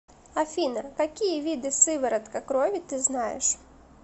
афина какие виды сыворотка крови ты знаешь